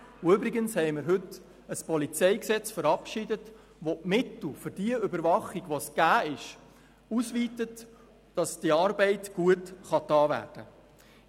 Und übrigens haben wir heute ein Polizeigesetz (PolG) verabschiedet, wodurch die Mittel für die Überwachung ausgeweitet werden, sodass diese Arbeit gut gemacht werden kann.